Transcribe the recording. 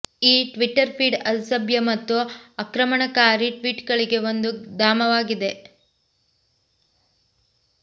ಈ Twitter feed ಅಸಭ್ಯ ಮತ್ತು ಆಕ್ರಮಣಕಾರಿ ಟ್ವೀಟ್ಗಳಿಗೆ ಒಂದು ಧಾಮವಾಗಿದೆ